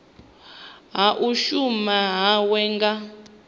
ha u shuma hawe nga